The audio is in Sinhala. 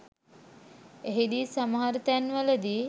එහිදී සමහර තැන්වලදී